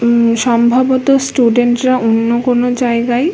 উম-ম সম্ভবত স্টুডেন্ট -রা অন্য কোনো জায়গায় --